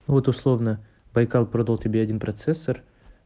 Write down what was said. вот условно байкал продал тебе один процессор